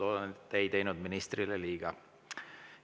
Loodan, et ei teinud ministrile liiga.